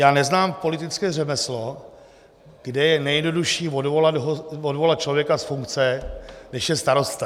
Já neznám politické řemeslo, kde je nejjednodušší odvolat člověka z funkce, než je starosta.